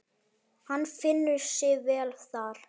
Hann finnur sig vel þar.